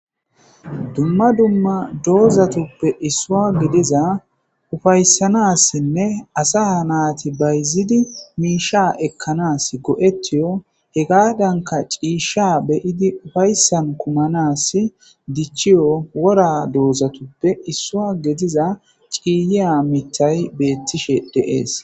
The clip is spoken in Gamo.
Dumma dumma doozatuppe issuwa gidiza ufaysanassinnne asa naati bayzidi miisha ekkanasi go'etiyo hegadanka ciisha be'idi oyssan kumanas dichiyo wora doozatuppe isuwa gidiza ciiliya mithay beetishe de'es.